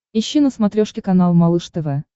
ищи на смотрешке канал малыш тв